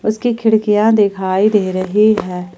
इसकी खिड़कियां दिखाई दे रही है।